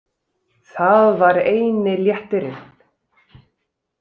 Það var eini léttirinn.